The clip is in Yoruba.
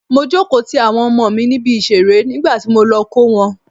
Mo jókòó ti àwọn ọmọ mi níbi ìṣeré nígbàtí mo lọ kó wọn.